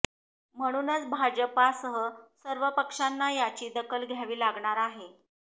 म्हणूनच भाजपासह सर्व पक्षांना याची दखल घ्यावी लागणार आहे